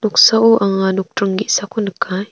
noksao anga nokdring ge·sako nikai .